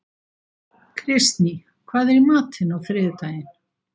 Kristný, hvað er í matinn á þriðjudaginn?